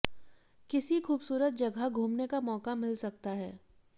किसी खूबसूरत जगह घूमने का मौका मिल सकता है